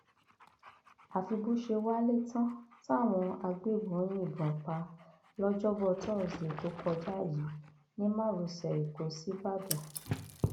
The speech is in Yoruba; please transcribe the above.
àfi bó ṣe wálé tán táwọn agbébọn yìnbọn pa á lọjọbọ tosidee tó kọjá yìí ní márosẹ ẹkọ síbàdàn